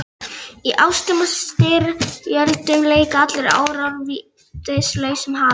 Í ástum og styrjöldum leika allir árar vítis lausum hala.